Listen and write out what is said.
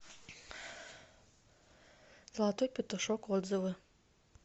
золотой петушок отзывы